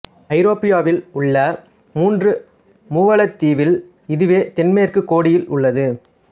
ஐரோப்பியாவில் உள்ள மூன்று மூவலந்தீவில் இதுவே தென்மேற்குக் கோடியில் உள்ளது